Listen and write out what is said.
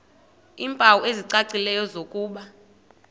iimpawu ezicacileyo zokuba